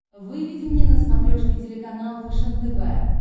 выведи мне на смотрешке телеканал фэшен тв